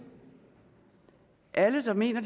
alle der mener